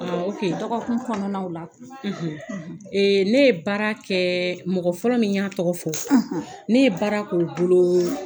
Ɔɔ Dɔgɔkun kɔnɔnaw la; ,; Ne ye baara kɛɛɛ mɔgɔ fɔlɔ min y'a tɔgɔ fɔ; ne ye baara k'o bolooo